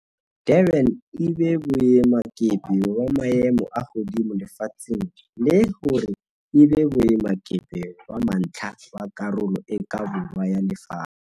Durban e be boemakepe ba maemo a hodimo lefatsheng le hore e be boemakepe ba mantlha ba Karolo e ka Borwa ya Lefatshe.